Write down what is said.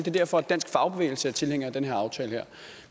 er derfor at dansk fagbevægelse er tilhænger af den her aftale